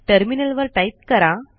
टर्मिनलवर टाईप करा